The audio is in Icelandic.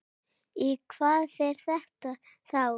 Í hvað fer þetta þá?